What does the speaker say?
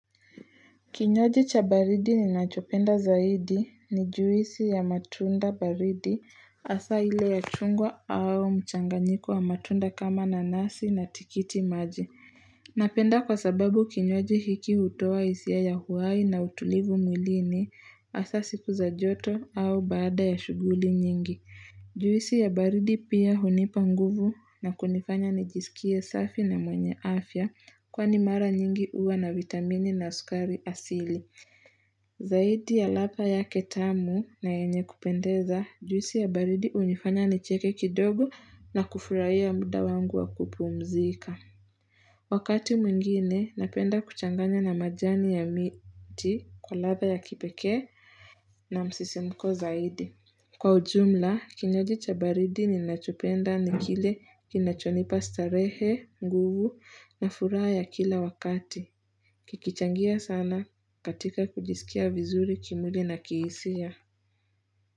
Kinywaji cha baridi ninachopenda zaidi ni juisi ya matunda baridi hasa ile ya chungwa au mchanganyiko wa matunda kama nanasi na tikitimaji Napenda kwa sababu kinywaji hutoa hisia ya uhai na utulivu mwilini hasa siku za joto au baada ya shughuli nyingi Juisi ya baridi pia hunipa nguvu na kunifanya nijisikie safi na mwenye afya kwani mara nyingi huwa na vitamini na sukari asili. Zaidi ya ladha yake tamu na yenye kupendeza, juisi ya baridi hunifanya nicheke kidogo na kufurahia muda wangu wa kupumzika. Wakati mwingine, napenda kuchanganya na majani ya miti kwa ladha ya kipekee na msisimuko zaidi. Kwa ujumla, kinywaji cha baridi ninachopenda ni kile kinachonipa starehe, nguvu na furaha ya kila wakati. Kikichangia sana katika kujisikia vizuri kimwili na kihisia.